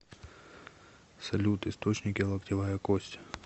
салют источники локтевая кость